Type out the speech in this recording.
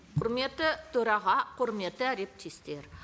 құрметті төраға құрметті әріптестер